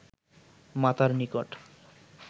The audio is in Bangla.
মাতার নিকট